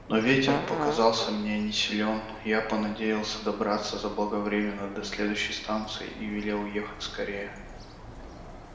но ветер показался мне не силён я понадеялся добраться заблаговременно до следующей станции и велел ехать скорее